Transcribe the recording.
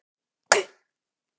Krissi, ekki fórstu með þeim?